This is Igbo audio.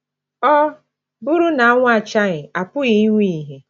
“ Ọ bụrụ na anwụ achaghị, a pụghị inwe ìhè ”